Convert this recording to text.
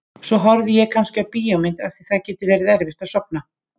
Svo horfi ég kannski á bíómynd af því að það getur verið erfitt að sofna.